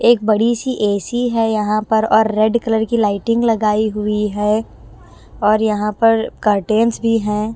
एक बड़ी सी एसी है यहाँ पर और रेड कलर की लाइटिंग लगाई हुई है और यहाँ पर कर्टेंस भी हैं।